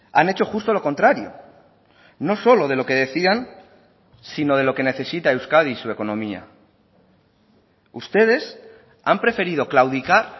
han hecho justo lo contrario no solo de lo que decían sino de lo que necesita euskadi y su economía ustedes han preferido claudicar